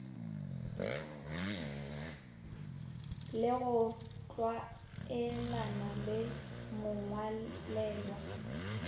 le go tlwaelana le mongwalelwa